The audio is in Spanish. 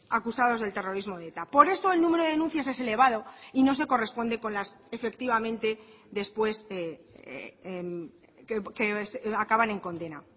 acusados del terrorismo de eta por eso el número de denuncias es elevado y no se corresponde con las efectivamente después acaban en condena